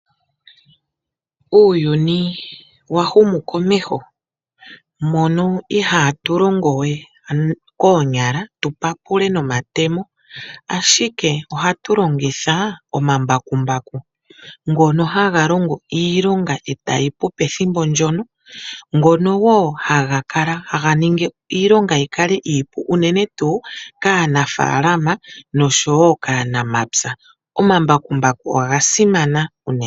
Uuyuni wa humu komeho mono ihatu longo we koonyala tu papule nomatemo ashike ohatu longitha omambakumbaku ngono haga longo iilonga etayipu pethimbo ndjono, ngono woo haga ningi iilonga iipu unene tuu kaanafaalama noshowo kaanamapya. Omambakumbu oga simana unene.